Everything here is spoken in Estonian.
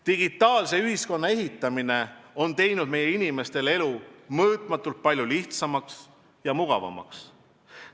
Digitaalse ühiskonna ehitamine on teinud meie inimeste elu mõõtmatult palju lihtsamaks ja mugavamaks.